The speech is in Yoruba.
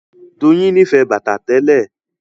Doyin nífẹ̀ẹ́ bàtà tẹ́lẹ̀